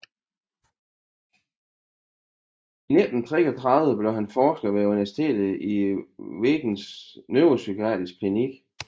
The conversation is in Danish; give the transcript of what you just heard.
I 1933 blev han forsker ved universitetet i Wiens neuropsykiatrisk klinik